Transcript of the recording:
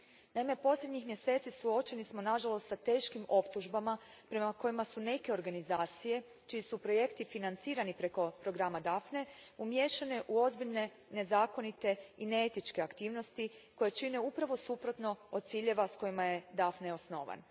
Naime, posljednjih mjeseci suočeni smo nažalost s teškim optužbama prema kojima su neke organizacije čiji su projekti financirani preko programa Daphne umiješane u ozbiljne nezakonite i neetičke aktivnosti koje čine upravo suprotno od ciljeva s kojima je Daphne osnovan.